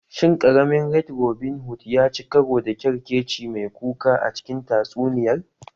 Shin ƙaramin Red Robin Hood ya ci karo da ƙyarkeci mai kuka a cikin tatsuniyar?